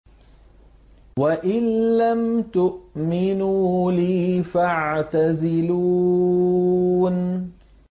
وَإِن لَّمْ تُؤْمِنُوا لِي فَاعْتَزِلُونِ